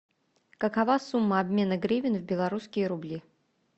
какова сумма обмена гривен в белорусские рубли